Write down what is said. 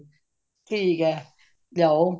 ਠੀਕ ਹੈ ਲਿਆਓ